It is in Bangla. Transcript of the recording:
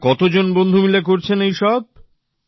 আপনারা কতজন বন্ধু মিলে করছেন এইসব